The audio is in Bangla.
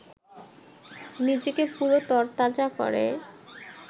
নিজেকে পুরো তরতাজা করে